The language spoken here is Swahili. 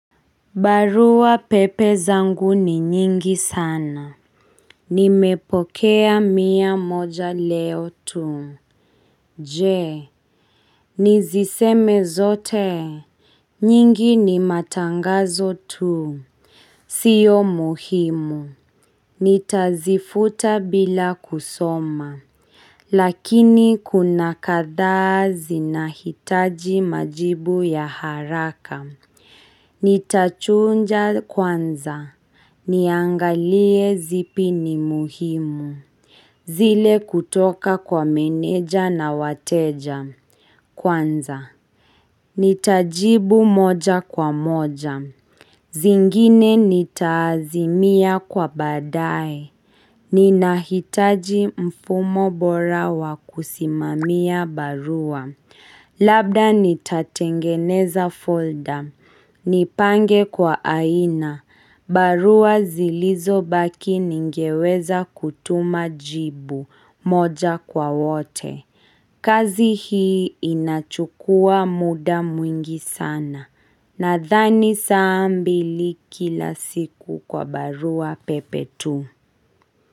Barua pepe zangu ni nyingi sana. Nimepokea mia moja leo tu. Je. Niziseme zote. Nyingi ni matangazo tu. Sio muhimu. Nitazifuta bila kusoma. Lakini kuna kadhaa zinahitaji majibu ya haraka. Nitachunja kwanza. Niangalie zipi ni muhimu. Zile kutoka kwa meneja na wateja. Kwanza, nitajibu moja kwa moja. Zingine nitaazimia kwa badae. Ninahitaji mfumo bora wakusimamia barua. Labda nitatengeneza folder, nipange kwa aina, barua zilizo baki ningeweza kutuma jibu moja kwa wote. Kazihi inachukua muda mwingi sana, nathani sa mbili kila siku kwa barua pepe tu.